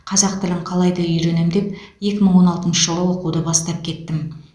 қазақ тілін қалайда үйренем деп екі мың он алтыншы жылы оқуды бастап кеттім